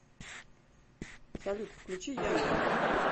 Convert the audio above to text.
салют включи янген